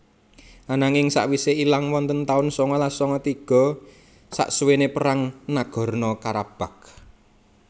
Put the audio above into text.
Ananging sakwise ilang wonten tahun sangalas sanga tiga saksuwene perang Nagorno Karabakh